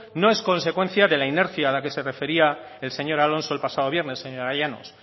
no es consecuencia de la inercia a la que se refería el señor alonso el pasado viernes señora llanos